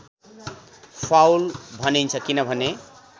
foul भनिन्छ किनभने